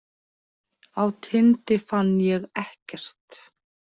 Á Tindi fann ég ekkert.